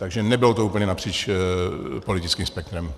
Takže nebylo to úplně napříč politickým spektrem.